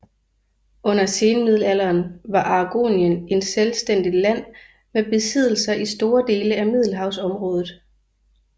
Under senmiddelalderen var Aragonien et selvstændigt land med besiddelser i store dele af Middelhavsområdet